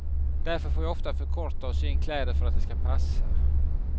Därför får jag ofta förkorta och sy in kläder för att de ska passa.